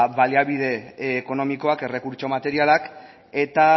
baliabide ekonomikoak errekurtso materialak eta